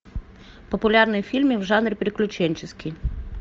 популярные фильмы в жанре приключенческий